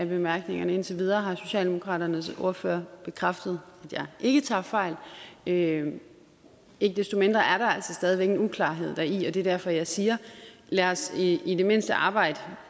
bemærkningerne indtil videre har socialdemokraternes ordfører bekræftet at jeg ikke tager fejl ikke desto mindre er der altså stadig væk en uklarhed deri og det er derfor jeg siger lad os i i det mindste arbejde